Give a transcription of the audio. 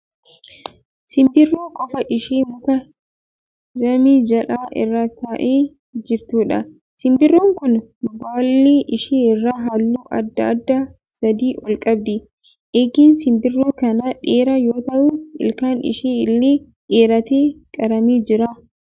Simbirroo qofaa ishee muka damee jal'aa irra taa'aa jirtuudha. Simbirroon kun baallee ishee irraa halluu adda addaa sadii ol qabdi. Eegeen simbirroo kanaa dheeraa yoo ta'u ilkaan ishee illee dheeratee qaramee jira.